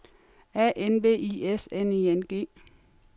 A N V I S N I N G